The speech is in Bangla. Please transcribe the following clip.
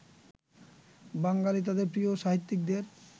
বাঙালি তাঁদের প্রিয় সাহিত্যিকদের